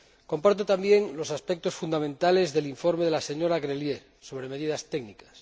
Comparto también los aspectos fundamentales del informe de la señora Grelier sobre medidas técnicas.